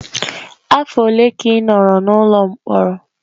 Afọ ole ka ị nọrọ n'ụlọ mkpọrọ?